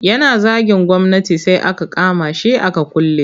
Yana zagin gwamnati sai aka kama shi aka kulle.